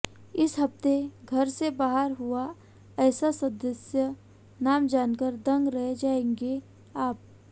इस हफ्ते घर से बाहर हुआ ऐसा सदस्य नाम जानकार दंग रह जाएंगे आप